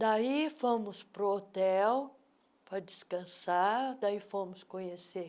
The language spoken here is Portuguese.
Daí fomos para o hotel para descansar, daí fomos conhecer